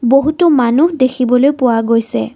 বহুতো মানুহ দেখিবলৈ পোৱা গৈছে।